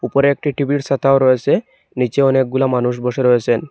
ওপরে একটি টিভি -র ছাতাও রয়েছে নিচে অনেকগুলা মানুষ বসে রয়েছেন।